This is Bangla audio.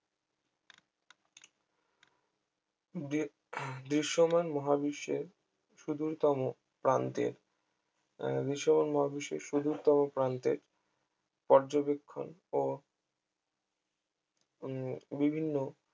দি দৃশ্যমান মহাবিশ্বের সুদূর তম প্রান্তের আহ দৃশ্যমান মহাবিশ্বের সুদূর তম প্রান্তের পর্যবেক্ষণ ও উম বিভিন্ন